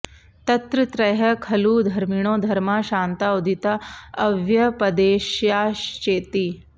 तत्र त्रयः खलु धर्मिणो धर्माः शान्ता उदिता अव्यपदेश्याश्चेति